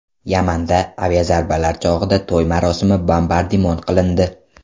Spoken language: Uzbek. Yamanda aviazarbalar chog‘ida to‘y marosimi bombardimon qilindi.